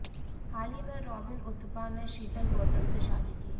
हाल ही में रॉबिन उथप्पा ने शीतल गौतम से शादी की